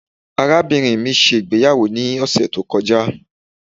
Arabinrin mi ṣe igbeyawo ni ọsẹ to kọja